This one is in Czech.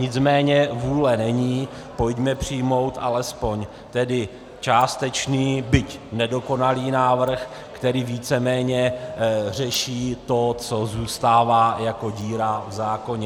Nicméně vůle není, pojďme přijmout alespoň tedy částečný, byť nedokonalý návrh, který víceméně řeší to, co zůstává jako díra v zákoně.